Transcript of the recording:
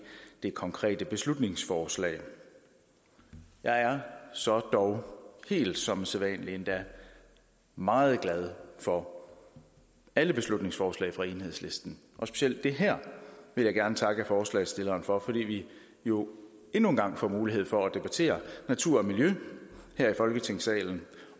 det konkrete beslutningsforslag jeg er så dog helt som sædvanlig endda meget glad for alle beslutningsforslag fra enhedslisten og specielt det her vil jeg gerne takke forslagsstillerne for fordi vi jo endnu en gang får mulighed for at debattere natur og miljø her i folketingssalen